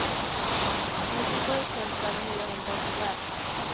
nittiosju tusen niohundratjugoett